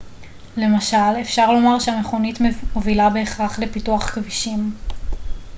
למשל אפשר לומר שהמכונית מובילה בהכרח לפיתוח כבישים